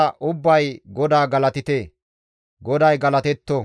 Shemppora paxa diza ubbay GODAA galatite! GODAY galatetto!